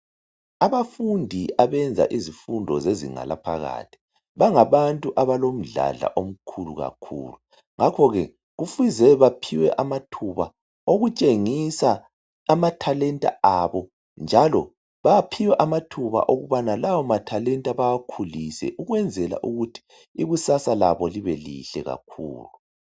Abafundi abenza izifundo zezinga laphakathi, bangabantu abalomdlandla omkhulu kakhulu. Ngakho ke, kufuze baphiwe amathuba okutshengisa amathalenta abo, njalo baphiwe amathuba okubana lawo mathalenta bawakhulise ukwenzela ukuthi ikusasa labo libe lihle kakhulu.